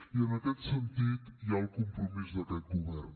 i en aquest sentit hi ha el compromís d’aquest govern